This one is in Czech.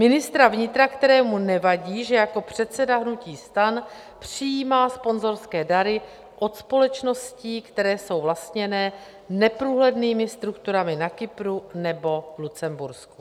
Ministra vnitra, kterému nevadí, že jako předseda hnutí STAN přijímá sponzorské dary od společností, které jsou vlastněny neprůhlednými strukturami na Kypru nebo v Lucembursku.